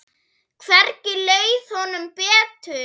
Hvergi leið honum betur.